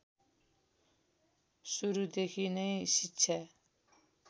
सुरुदेखि नै शिक्षा